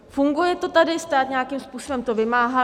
Funguje to tady, stát nějakým způsobem to vymáhá.